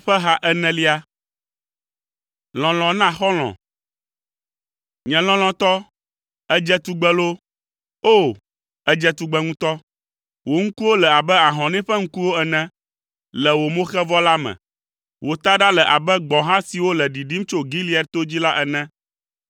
Nye lɔlɔ̃tɔ, èdze tugbe loo! O, èdze tugbe ŋutɔ! Wò ŋkuwo le abe ahɔnɛ ƒe ŋkuwo ene le wò moxevɔ la me. Wò taɖa le abe gbɔ̃ha siwo le ɖiɖim tso Gilead to dzi la ene.